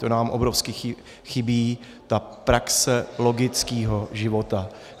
To nám obrovsky chybí, ta praxe logického života.